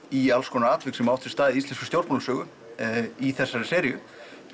í alls konar atvik sem hafa átt sér stað í íslenskri stjórnmálasögu í þessari seríu